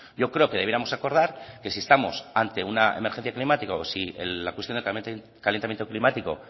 yo creo que debiéramos acordar que si estamos ante una emergencia climática o si la cuestión del calentamiento climático